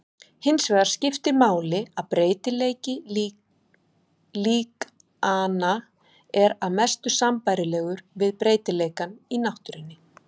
Hinsvegar skiptir máli að breytileiki líkananna er að mestu sambærilegur við breytileikann í náttúrunni.